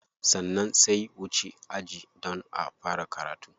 Sannan sai wuce aji don a fara karatu.